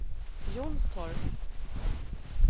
Jonstorp